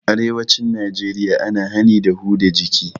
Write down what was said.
A arewacin najeriya ana hani da huda jiki